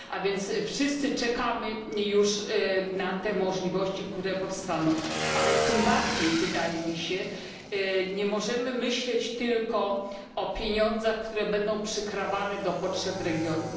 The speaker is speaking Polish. A więc wszyscy czekamy już na te możliwości, które powstaną, ale tym bardziej wydaje mi się, nie możemy myśleć tylko o pieniądzach, które będą przykrawane do potrzeb regionu.